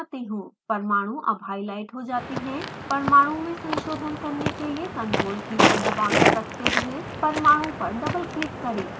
परमाणु अब हाईलाइट हो जाता है परमाणु में संशोधन करने के लिए ctrl की को दबाकर रखते हुए परमाणु पर डबल क्लिक करें